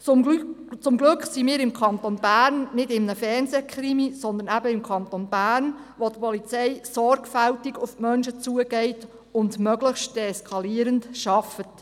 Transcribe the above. Zum Glück befinden wir uns im Kanton Bern nicht in einem Fernsehkrimi, sondern eben im Kanton Bern, wo die Polizei sorgfältig auf die Menschen zugeht und möglichst deeskalierend arbeitet.